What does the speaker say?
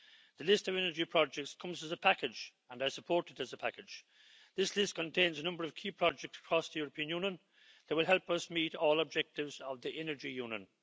The list of energy projects comes as a package, and I support it as a package. This list contains a number of key projects across the European Union that will help us meet all objectives of the Energy Union.